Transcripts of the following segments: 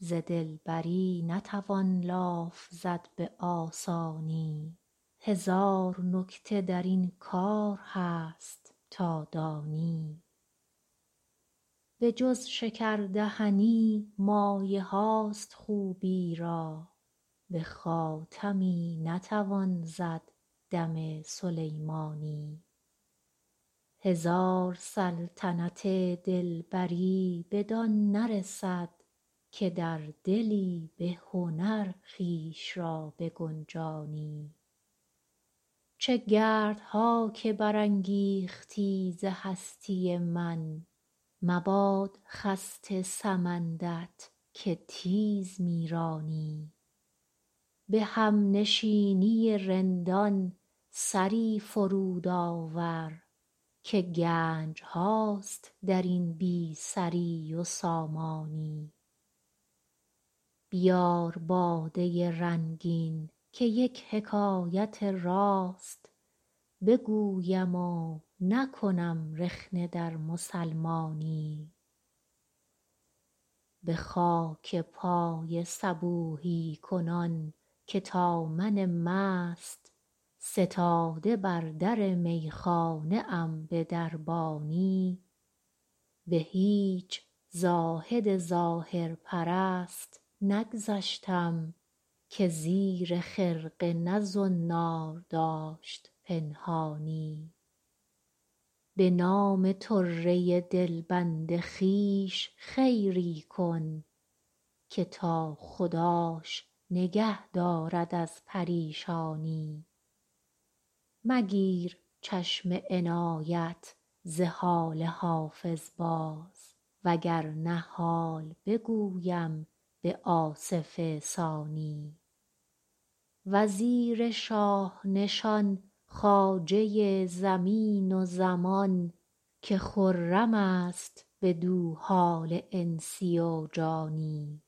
ز دلبری نتوان لاف زد به آسانی هزار نکته در این کار هست تا دانی بجز شکردهنی مایه هاست خوبی را به خاتمی نتوان زد دم سلیمانی هزار سلطنت دلبری بدان نرسد که در دلی به هنر خویش را بگنجانی چه گردها که برانگیختی ز هستی من مباد خسته سمند ت که تیز می رانی به همنشینی رندان سری فرود آور که گنج هاست در این بی سری و سامانی بیار باده رنگین که یک حکایت راست بگویم و نکنم رخنه در مسلمانی به خاک پای صبوحی کنان که تا من مست ستاده بر در میخانه ام به دربانی به هیچ زاهد ظاهر پرست نگذشتم که زیر خرقه نه زنار داشت پنهانی به نام طره دلبند خویش خیری کن که تا خداش نگه دارد از پریشانی مگیر چشم عنایت ز حال حافظ باز وگرنه حال بگویم به آصف ثانی وزیر شاه نشان خواجه زمین و زمان که خرم است بدو حال انسی و جانی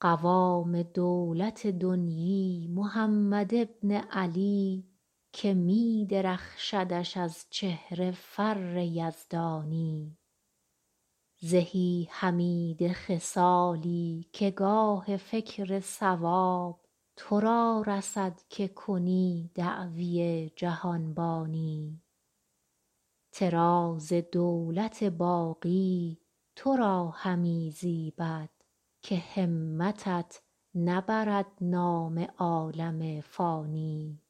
قوام دولت دنیی محمد بن علی که می درخشدش از چهره فر یزدانی زهی حمیده خصالی که گاه فکر صواب تو را رسد که کنی دعوی جهانبانی طراز دولت باقی تو را همی زیبد که همتت نبرد نام عالم فانی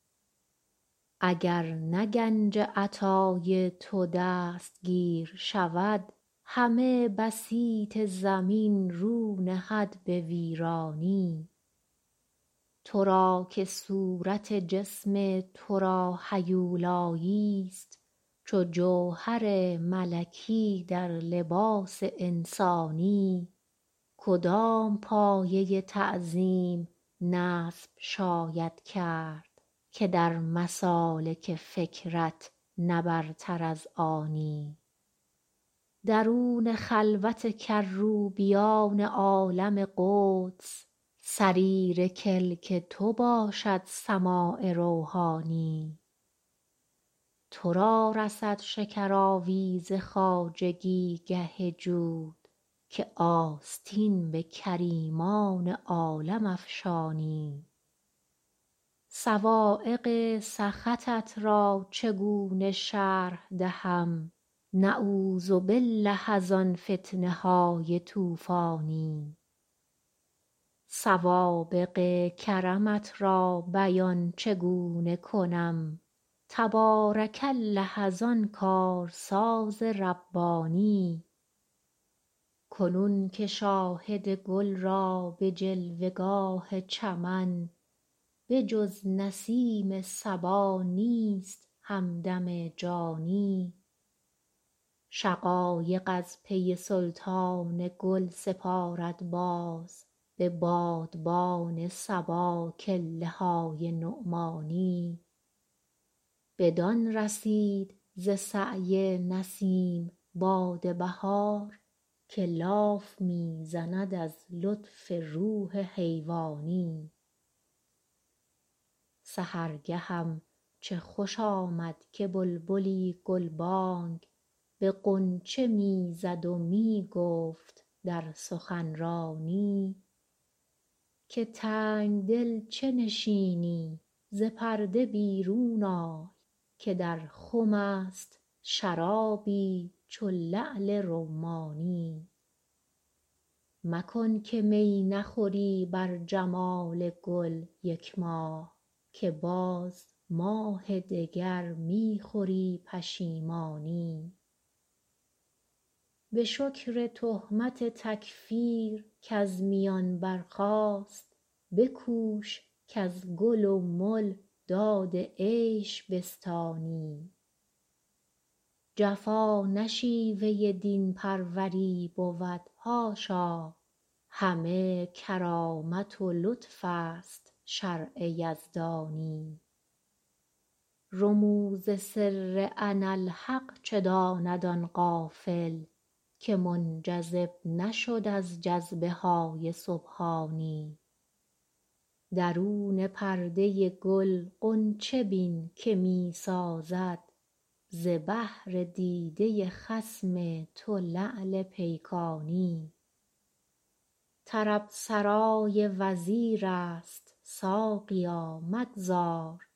اگر نه گنج عطا ی تو دستگیر شود همه بسیط زمین رو نهد به ویرانی تو را که صورت جسم تو را هیولایی است چو جوهر ملکی در لباس انسانی کدام پایه تعظیم نصب شاید کرد که در مسالک فکرت نه برتر از آنی درون خلوت کروبیان عالم قدس صریر کلک تو باشد سماع روحانی تو را رسد شکر آویز خواجگی گه جود که آستین به کریمان عالم افشانی صواعق سخطت را چگونه شرح دهم نعوذ بالله از آن فتنه های طوفانی سوابق کرمت را بیان چگونه کنم تبارک الله از آن کارساز ربانی کنون که شاهد گل را به جلوه گاه چمن به جز نسیم صبا نیست همدم جانی شقایق از پی سلطان گل سپارد باز به بادبان صبا کله های نعمانی بدان رسید ز سعی نسیم باد بهار که لاف می زند از لطف روح حیوانی سحرگهم چه خوش آمد که بلبلی گلبانگ به غنچه می زد و می گفت در سخنرانی که تنگدل چه نشینی ز پرده بیرون آی که در خم است شرابی چو لعل رمانی مکن که می نخوری بر جمال گل یک ماه که باز ماه دگر می خوری پشیمانی به شکر تهمت تکفیر کز میان برخاست بکوش کز گل و مل داد عیش بستانی جفا نه شیوه دین پروری بود حاشا همه کرامت و لطف است شرع یزدانی رموز سر اناالحق چه داند آن غافل که منجذب نشد از جذبه های سبحانی درون پرده گل غنچه بین که می سازد ز بهر دیده خصم تو لعل پیکانی طرب سرای وزیر است ساقیا مگذار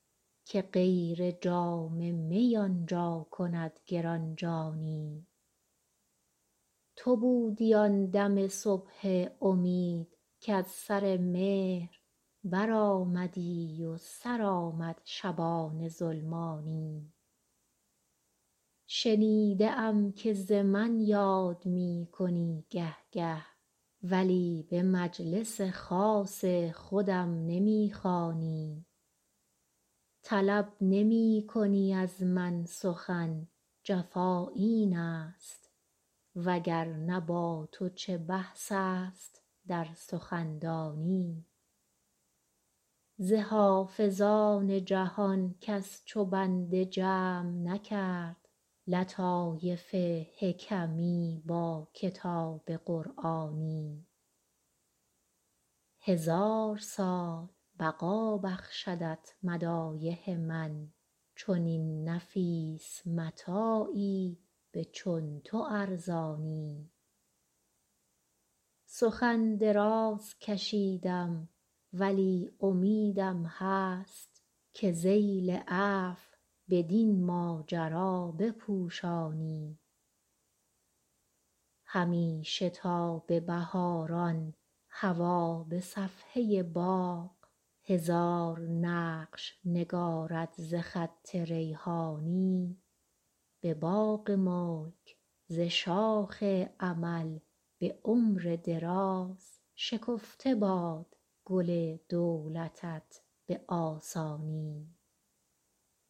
که غیر جام می آنجا کند گرانجانی تو بودی آن دم صبح امید کز سر مهر برآمدی و سر آمد شبان ظلمانی شنیده ام که ز من یاد می کنی گه گه ولی به مجلس خاص خودم نمی خوانی طلب نمی کنی از من سخن جفا این است وگرنه با تو چه بحث است در سخندانی ز حافظان جهان کس چو بنده جمع نکرد لطایف حکمی با کتاب قرآنی هزار سال بقا بخشدت مدایح من چنین نفیس متاعی به چون تو ارزانی سخن دراز کشیدم ولی امیدم هست که ذیل عفو بدین ماجرا بپوشانی همیشه تا به بهاران هوا به صفحه باغ هزار نقش نگارد ز خط ریحانی به باغ ملک ز شاخ امل به عمر دراز شکفته باد گل دولتت به آسانی